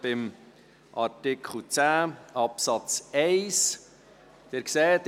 Wir sind beim Artikel 10 Absatz 1 stehen geblieben.